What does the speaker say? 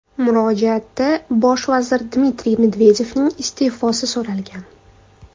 Murojaatda bosh vazir Dmitriy Medvedevning iste’fosi so‘ralgan.